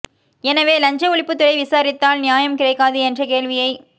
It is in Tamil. எனவே லஞ்ச ஒழிப்புத் துறை விசாரித்தால் நியாயம் கிடைக்காது என்ற கேள்வியை